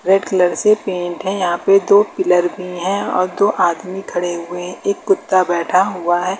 Red colour से paint है यहां पे दो पिलर भी हैं और दो आदमी खड़े हुए एक कुत्ता बैठा हुआ है।